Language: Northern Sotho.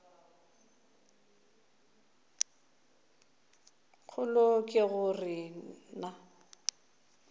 kgolo ke go re na